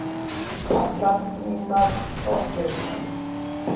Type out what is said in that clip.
Allar mínar sorgirnar